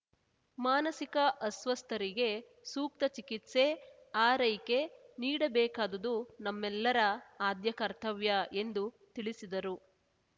ಮಾನಸಿಕ ಅಸ್ವಸ್ಥರಿಗೆ ಸೂಕ್ತ ಚಿಕಿತ್ಸೆ ಆರೈಕೆ ನೀಡಬೇಕಾದುದು ನಮ್ಮೆಲ್ಲರ ಆದ್ಯ ಕರ್ತವ್ಯ ಎಂದು ತಿಳಿಸಿದರು